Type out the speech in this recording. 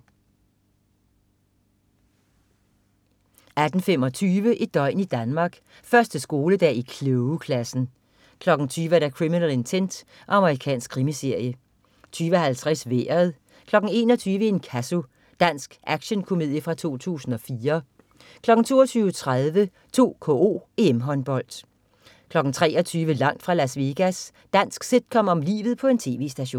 18.25 Et døgn i Danmark: 1. skoledag i klogeklassen 20.00 Criminal Intent. Amerikansk krimiserie 20.50 Vejret 21.00 Inkasso. Dansk actionkomedie fra 2004 22.30 2KO: EM-Håndbold 23.00 Langt fra Las Vegas. Dansk sitcom om livet på en tv-station